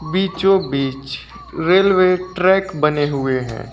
बीचों बीच railway track बने हुए हैं।